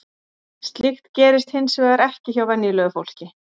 Slíkt gerist hins vegar ekki hjá venjulegu fólki.